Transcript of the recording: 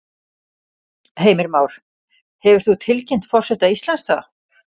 Heimir Már: Hefur þú tilkynnt forseta Íslands það?